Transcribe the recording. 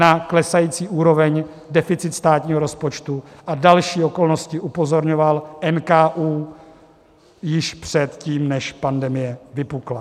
Na klesající úroveň, deficit státního rozpočtu a další okolnosti upozorňoval NKÚ již předtím, než pandemie vypukla.